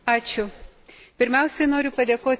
Pirmiausia noriu padėkoti kolegai C.